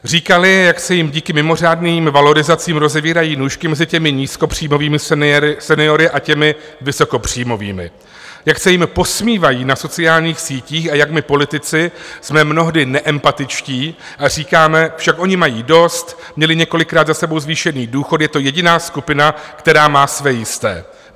Říkali, jak se jim díky mimořádným valorizacím rozevírají nůžky mezi těmi nízkopříjmovými seniory a těmi vysokopříjmovými, jak se jim posmívají na sociálních sítích a jak my politici jsme mnohdy neempatičtí a říkáme: Však oni mají dost, měli několikrát za sebou zvýšený důchod, je to jediná skupina, která má své jisté.